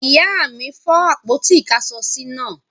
Ìyá mi fọ́ àpótí-ìkáṣọsí náà.